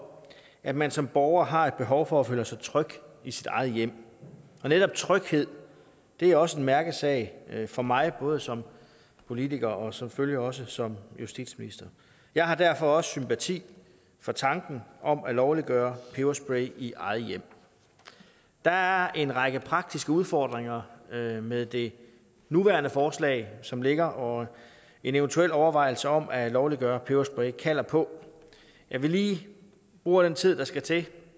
at man som borger har et behov for at føle sig tryg i sit eget hjem og netop tryghed er også en mærkesag for mig både som politiker og selvfølgelig også som justitsminister jeg har derfor også sympati for tanken om at lovliggøre peberspray i eget hjem der er en række praktiske udfordringer med med det nuværende forslag som ligger og en eventuel overvejelse om at lovliggøre peberspray kalder på at vi bruger den tid der skal til